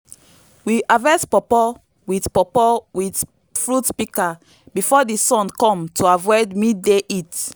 we harvest pawpaw with pawpaw with fruit pika before di sun kom to avoid midday heat